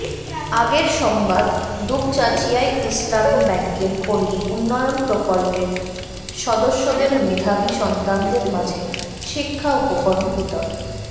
আগের সংবাদ দুপচাঁচিয়ায় ইসলামী ব্যাংকের পল্লী উন্নয়ন প্রকল্পের সদস্যদের মেধাবী সন্তানদের মাঝে শিক্ষা উপকরণ বিতরণ